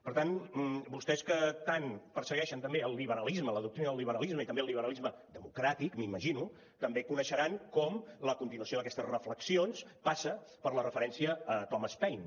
per tant vostès que tant persegueixen també el liberalisme la doctrina del liberalisme i també el liberalisme democràtic m’imagino també coneixeran com la continuació d’aquestes reflexions passa per la referència a thomas paine